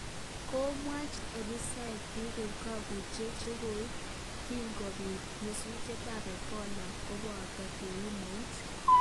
Komwach abisaiyek biik koip kokwautiet chekoip kingobiit nyasutiet ab ebola koboto keun eunek